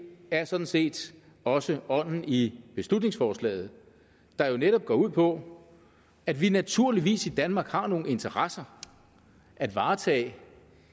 er sådan set også ånden i beslutningsforslaget der netop går ud på at vi naturligvis i danmark har nogle interesser at varetage